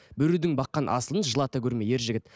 біреудің баққан асылын жылата көрме ер жігіт